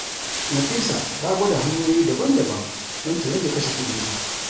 Nafisa ta gwada hanyoyi daban-daban don ta rage kashe kuɗinta.